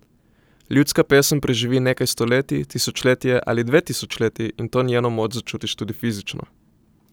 Ljudska pesem preživi nekaj stoletij, tisočletje ali dve tisočletji in to njeno moč začutiš tudi fizično.